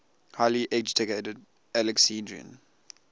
highly educated alexandrian